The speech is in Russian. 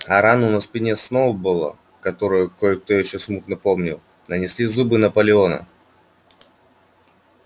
а рану на спине сноуболла которую кое-кто ещё смутно помнил нанесли зубы наполеона